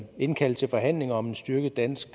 indkalde til forhandlinger om en styrket dansk